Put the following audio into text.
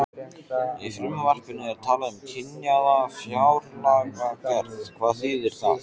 Í frumvarpinu er talað um kynjaða fjárlagagerð, hvað þýðir það?